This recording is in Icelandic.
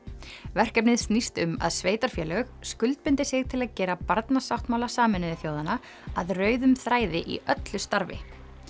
verkefnið snýst um að sveitarfélög skuldbindi sig til að gera Barnasáttmála Sameinuðu þjóðanna að rauðum þræði í öllu starfi